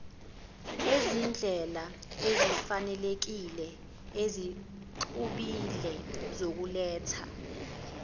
izindlelaezifanelekile ezixubile zokuletha